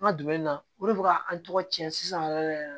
An ka dumuni na o de bɛ ka an tɔgɔ cɛn sisan yɛrɛ yɛrɛ